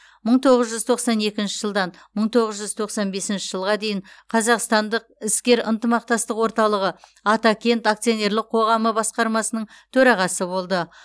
мың тоғыз жүз тоқсан екінші жылдан мың тоғыз жүз тоқсан бесінші жылға дейін қазақстандық іскер ынтымақтастық орталығы атакент акционерлік қоғамы басқармасының төрағасы болды